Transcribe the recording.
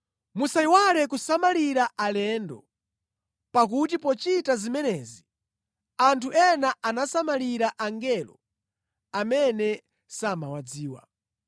Musayiwale kusamalira alendo, pakuti pochita zimenezi anthu ena anasamalira angelo amene samawadziwa.